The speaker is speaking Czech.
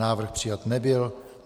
Návrh přijat nebyl.